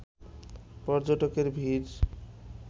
পর্যটকের ভিড়